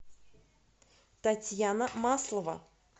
татьяна маслова